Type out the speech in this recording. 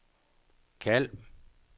kald